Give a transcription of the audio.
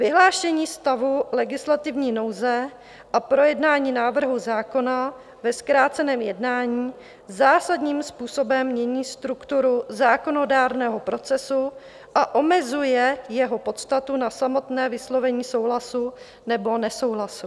Vyhlášení stavu legislativní nouze a projednání návrhu zákona ve zkráceném jednání zásadním způsobem mění strukturu zákonodárného procesu a omezuje jeho podstatu na samotné vyslovení souhlasu nebo nesouhlasu.